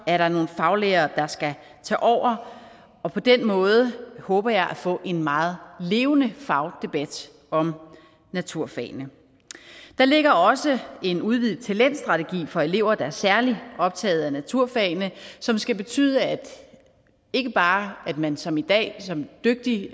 er der nogle faglærere der skal tage over og på den måde håber jeg at få en meget levende fagdebat om naturfagene der ligger også en udvidet talentstrategi for elever der er særlig optaget af naturfagene som skal betyde ikke bare at man som i dag som dygtig